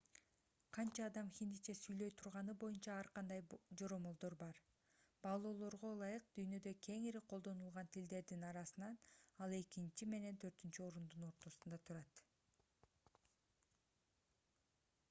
канча адам хиндиче сүйлөй турганы боюнча ар кандай жоромолдор бар баалоолорго ылайык дүйнөдө кеңири колдонулган тилдердин арасынан ал экинчи менен төртүнчү орундун ортосунда турат